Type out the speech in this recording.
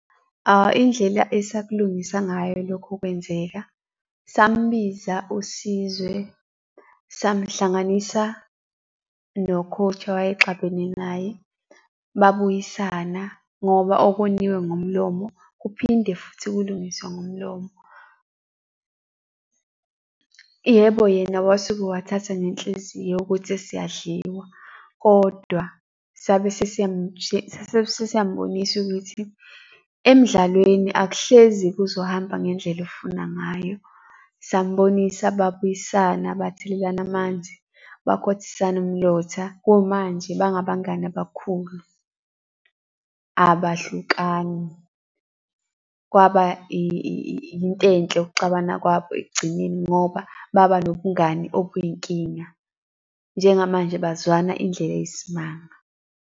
Indlela asakulungisa ngayo lokho kwenzeka, sambiza uSizwe, samhlanganisa no-coach owayexabene naye. Babuyisana ngoba okoniwe ngomlomo, kuphinde futhi kulungiswe ngomlomo. Yebo, yena wasuke wathatha nenhliziyo ukuthi siyadliwa, kodwa sabese sabese siyambonisa ukuthi emdlalweni akuhlezi kuzohamba ngendlela ofuna ngayo. Sambonisa babuyisana bathelelana amanzi, bakhothisana umlotha. Kumanje bangabangani abakhulu, abahlukani. Kwaba into enhle ukuxabana kwabo ekugcineni, ngoba baba nobungane obuyinkinga. Njengamanje bazwana indlela eyisimanga.